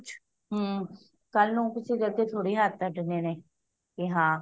ਹੱਮ ਕਲ ਨੂੰ ਹੁਣ ਕਿਸੀ ਦੇ ਅੱਗੇ ਥੋੜੇ ਹਥ੍ਹ ਅਡਨੇ ਨੇ ਕਿ ਹਾਂ